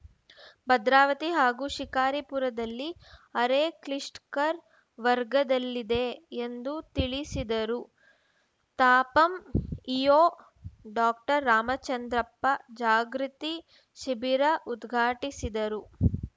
ಭದ್ರಾವತಿ ಹಾಗೂ ಶಿಕಾರಿಪುರದಲ್ಲಿ ಅರೆ ಕ್ಲಿಷ್ಟ್ ಕರ್ ವರ್ಗದಲ್ಲಿದೆ ಎಂದು ತಿಳಿಸಿದರು ತಾಪಂ ಇಒ ಡಾಕ್ಟರ್ ರಾಮಚಂದ್ರಪ್ಪ ಜಾಗೃತಿ ಶಿಬಿರ ಉದ್ಘಾಟಿಸಿದರು